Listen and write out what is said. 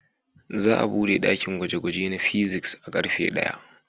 Za a buɗe ɗakin gwaje-gwage na fizics a karfe daya.